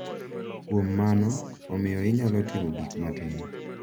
Kuom mano, omiyo inyalo timo gik matin .